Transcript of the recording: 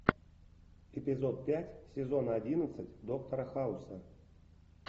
эпизод пять сезона одиннадцать доктора хауса